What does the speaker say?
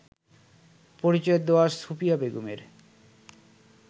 পরিচয় দেওয়া সুফিয়া বেগমের